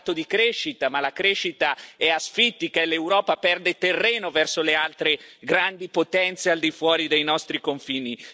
Ha parlato di crescita ma la crescita è asfittica e l'Europa perde terreno verso le altre grandi potenze al di fuori dei nostri confini.